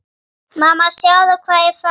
Mamma sjáðu hvað ég fann!